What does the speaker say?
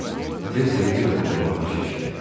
Tez televizorun qabağına keçdi.